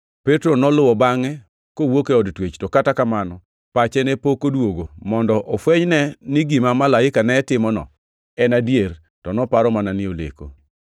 Petro noluwo bangʼe kowuok e od twech, to kata kamano pache ne pok odwogo mondo ofwenyne ni gima malaika ne timono en adier, to noparo mana ni oleko.